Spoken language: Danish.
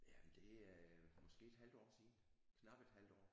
Jamen det er måske et halvt år siden knap et halvt år